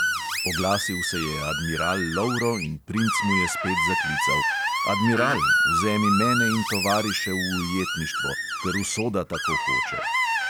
Oglasil se je admiral lovro in princ mu je spet zaklical: "admiral, vzemi mene in tovariše v ujetništvo, ker usoda tako hoče."